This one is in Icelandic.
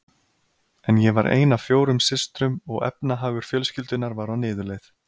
En ég var ein af fjórum systrum og efnahagur fjölskyldunnar var á niðurleið.